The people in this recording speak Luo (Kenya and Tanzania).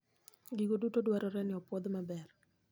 Gigo duto dwarore ni opwodh maber.